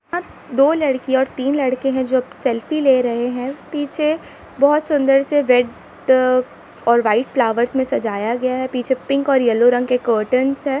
दो लड़की और तीन लड़के है जो सेल्फी ले रहे है पीछे बहुत सुंदर रेड और व्हाइट फ्लावर्स में सजाया गया है पीछे पिंक और येलो कर्टंस हैं।